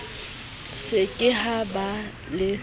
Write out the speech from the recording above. se ke ha ba le